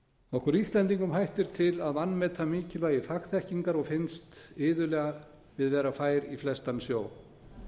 okkur íslendingum hættir til að vanmeta mikilvægi fagþekkingar og finnst iðulega við vera fær í flestan sjó